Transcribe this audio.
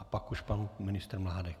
A pak už pan ministr Mládek.